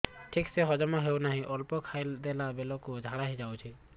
ଠିକସେ ସବୁ ହଜମ ହଉନାହିଁ ଅଳ୍ପ ଖାଇ ଦେଲା ବେଳ କୁ ଝାଡା ହେଇଯାଉଛି